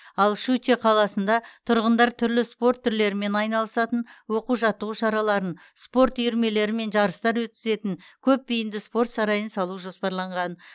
щучье қаласында тұрғындар түрлі спорт түрлерімен айналысатын оқу жаттығу шараларын спорт үйірмелері мен жарыстар өткізетін көпбейінді спорт сарайын салу жоспарланған